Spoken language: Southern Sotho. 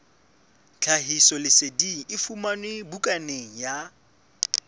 tlhahisoleseding e fumanwe bukaneng ya